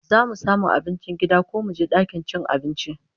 Zamu samu abincin gida ko muje dakin cin abincin?